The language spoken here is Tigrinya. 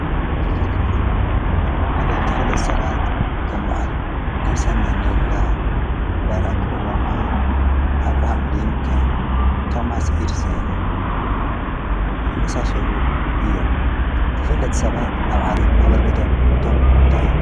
ብዓለም ተፈለት ሰባት ከም በዓል ኔርሰን መንድላ ባራኽ ኦባማ ኣብርሃም ልንከን ቶማስ ኢድሴን ዝመሣሶሉ እዮ ተፈለት ሰባት ኣብ ዓለም ሃበርከቶም ቶም እታይ እዮ።